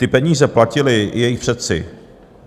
Ty peníze platili i jejich předci.